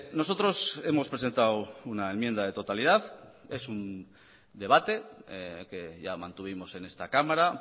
nosotros hemos presentado una enmienda de totalidad es un debate que ya mantuvimos en esta cámara